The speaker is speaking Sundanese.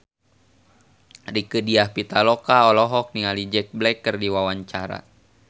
Rieke Diah Pitaloka olohok ningali Jack Black keur diwawancara